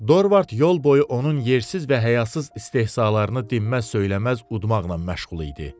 Dorvard yol boyu onun yersiz və həyasız istehzalarını dinməz, söyləməz udmaqla məşğul idi.